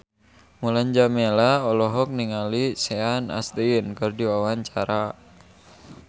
Mulan Jameela olohok ningali Sean Astin keur diwawancara